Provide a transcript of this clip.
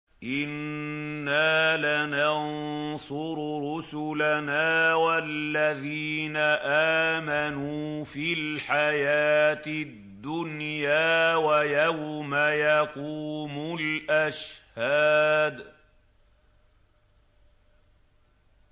إِنَّا لَنَنصُرُ رُسُلَنَا وَالَّذِينَ آمَنُوا فِي الْحَيَاةِ الدُّنْيَا وَيَوْمَ يَقُومُ الْأَشْهَادُ